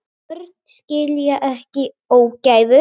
Börn skilja ekki ógæfu.